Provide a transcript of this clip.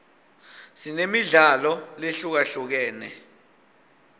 sinemidlalo lehlukahlukene